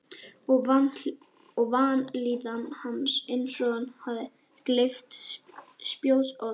Og vanlíðan hans eins og hann hefði gleypt spjótsodd.